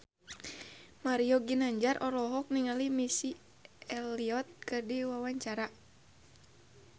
Mario Ginanjar olohok ningali Missy Elliott keur diwawancara